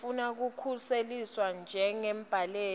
lofuna kukhuseliswa njengembaleki